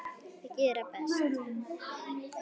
Gera best.